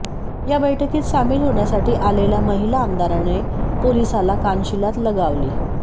या बैठकीत सामिल होण्यासाठी आलेल्या महिला आमदाराने पोलिसाला कानशिलात लगावली